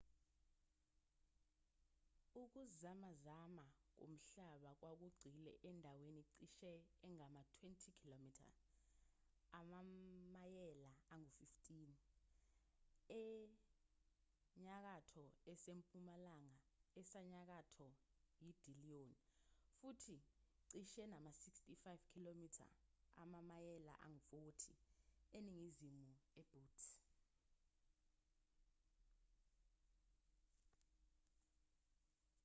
ukuzamazama komhlaba kwakugxile endaweni cishe engama-20 km amamayela angu-15 enyakatho esempumalanga esenyakatho yedillon futhi cishe nama-65 km amamayela angu-40 eningizimu nebutte